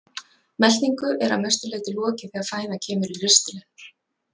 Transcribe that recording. Meltingu er að mestu leyti lokið þegar fæðan kemur í ristilinn.